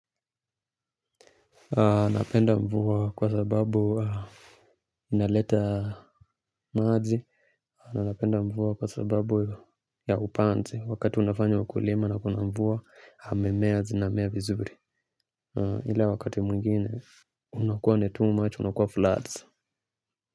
Napenda mvua kwa sababu inaleta maaji napenda mvua kwa sababu ya upanzi wakati unafanya ukulima na kuna mvua mimea zinamea vizuri. Ila wakati mungine unakuwa ni too much unakuwa floods.